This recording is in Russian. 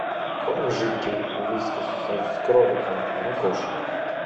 корм жидкий вискас с кроликом для кошек